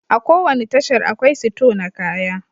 A ko wani tashar, akwai sito na kaya